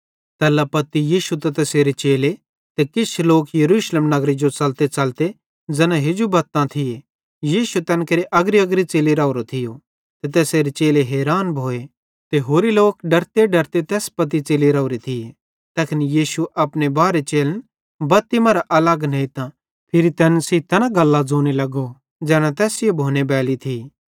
तैल्ला पत्ती यीशु त तैसेरे चेले ते किछ लोक यरूशलेम नगरे जो च़लतेच़लते तैना हेजू बत्तां थिये यीशु तैन केरे अग्रीअग्री पासे च़ेलि राओरो थियो ते तैसेरे चेले हैरान भोए त होरे लोक डरतेडरते तैस पत्ती च़ली राओरे थिये तैखन यीशु अपने बारहे चेलन बत्ती मरां अलग नेइतां फिरी तैन सेइं तैना गल्लां ज़ोने लगो ज़ैना तैस सेइं भोनेबैली थी